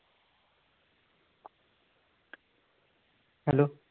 Hello